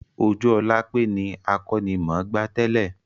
Ojúolápé ni akọ́nimọ̀gbá tẹ́lẹ́